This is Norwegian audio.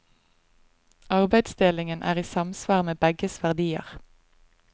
Arbeidsdelingen er i samsvar med begges verdier.